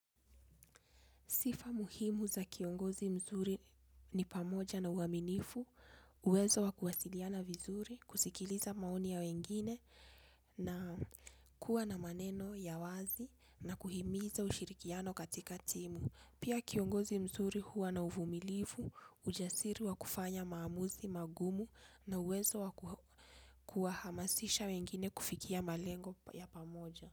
Sifa muhimu za kiongozi mzuri ni pamoja na uaminifu, uwezo wa kuwasiliana vizuri, kusikiliza maoni ya wengine na kuwa na maneno ya wazi na kuhimiza ushirikiano katika timu. Pia kiongozi mzuri huwa na uvumilivu, ujasiri wa kufanya maamuzi magumu na uwezo wa kuwahamasisha wengine kufikia malengo ya pamoja.